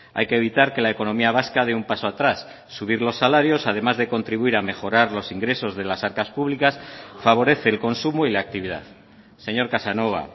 hay que evitar que la economía vasca dé un paso atrás subir los salarios además de contribuir a mejorar los ingresos de las arcas públicas favorece el consumo y la actividad señor casanova